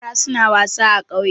Yara suna wasa a ƙauye.